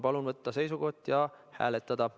Palun võtta seisukoht ja hääletada.